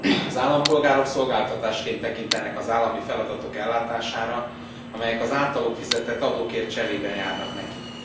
Az állampolgárok szolgáltatásként tekintenek az állami feladatok ellátására, amelyek az általuk fizetett adókért cserében járnak nekik.